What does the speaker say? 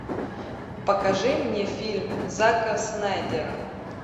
покажи мне фильм зака снайдера